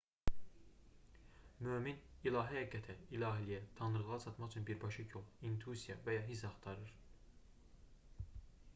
mömin ilahi həqiqətə/ilahiliyə tanrılığa çatmaq üçün birbaşa yol intuisiya və ya hiss axtarır